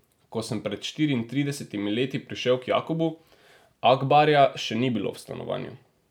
Ko sem pred štiriintridesetimi leti prišel k Jakobu, Akbarja še ni bilo v stanovanju.